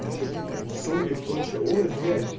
и что похоже соль и прочее ой блять